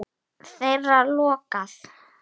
Þeirra lokað.